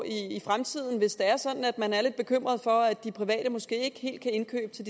i fremtiden hvis det er sådan at man er lidt bekymret for at de private måske ikke helt kan indkøbe til